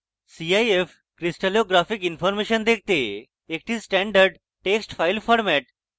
cif crystallographic information দেখতে একটি standard text file format